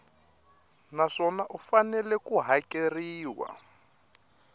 naswona u fanele ku hakeriwa